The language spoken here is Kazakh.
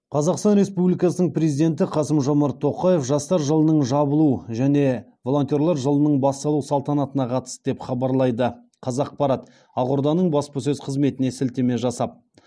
қазақстан республикасының президенті қасым жомарт тоқаев жастар жылының жабылу және волонтерлар жылының басталу салтанатына қатысты деп хабарлайды қазақпарат ақорданың баспасөз қызметіне сілтеме жасап